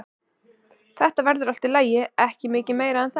Þetta hefur verið allt í lagi, ekki mikið meira en það.